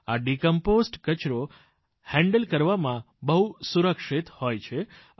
આ ડિકમ્પોઝ્ડ કચરો હેન્ડલ કરવામાં બહુ સુરક્ષિત હોય છે